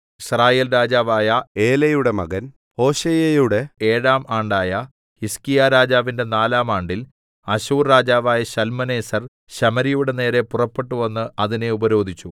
യിസ്രായേൽ രാജാവായ ഏലയുടെ മകൻ ഹോശേയയുടെ ഏഴാം ആണ്ടായ ഹിസ്കീയാരാജാവിന്റെ നാലാം ആണ്ടിൽ അശ്ശൂർ രാജാവായ ശൽമനേസർ ശമര്യയുടെ നേരെ പുറപ്പെട്ടുവന്ന് അതിനെ ഉപരോധിച്ചു